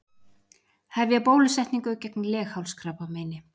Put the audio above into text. Hefja bólusetningu gegn leghálskrabbameini